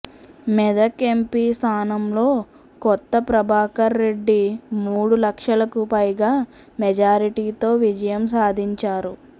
Medak MP స్థానంలో కొత్త ప్రభాకర్ రెడ్డి మూడు లక్షలకు పైగా మెజారిటీతో విజయం సాధించారు